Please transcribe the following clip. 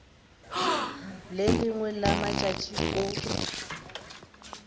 le lengwe la matšatši o